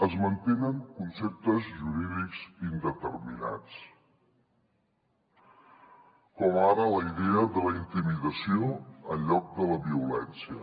es mantenen conceptes jurídics indeterminats com ara la idea de la intimidació en lloc de la violència